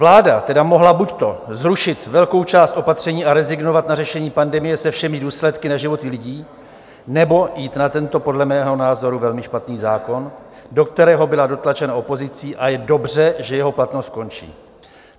Vláda mohla buď zrušit velkou část opatření a rezignovat na řešení pandemie se všemi důsledky na životy lidí, nebo jít na tento podle mého názoru velmi špatný zákon, do kterého byla dotlačena opozicí, a je dobře, že jeho platnost končí.